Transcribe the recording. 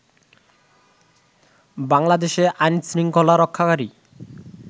বাংলাদেশে আইন শৃঙ্খলা রক্ষাকারী